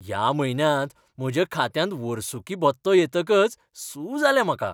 ह्या म्हयन्यांत म्हज्या खात्यांत वर्सुकी भत्तो येतकच सू जालें म्हाका.